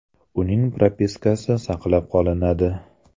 Uning propiskasi saqlab qolinadi.